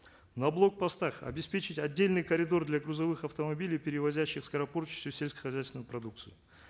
на блокпостах обеспечить отдельный коридор для грузовых автомобилей перевозящих скоропортящуюся сельскохозяйственную продукцию